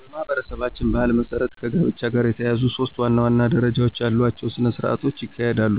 በማኅበረሰባችን ባሕል መሠረት ከጋብቻ ጋር የተያያዙ ሦስት ዋና ዋና ደረጃዎች ያሏቸው ሥነ ሥርዓቶች ይካሄዳሉ።